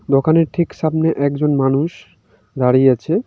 দোকানের ঠিক সামনে একজন মানুষ দাঁড়িয়ে আছে।